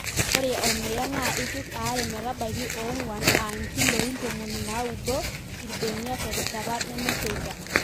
Ore ormuya NAA ipiki are metabaiki onguan ( inkiloi tomoni naudo) irbenia tereshata nemesheta